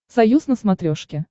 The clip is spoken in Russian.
союз на смотрешке